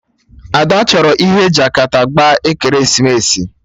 Ada chọrọ ihe Jakata gbaa ekeresimesi